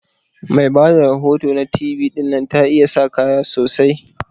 Mai Bada rahoto na T V dinnan ta iya sa kaya sosai.